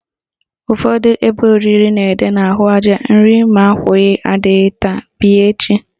Ụfọdụ ebe oriri na-ede n'ahụaja "Iri ma akwụghị adịghị taa, bịa echi"